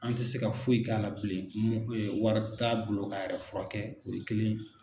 An tɛ se ka foyi k'a la bilen wari t'a bolo k'a yɛrɛ furakɛ o ye kelen ye.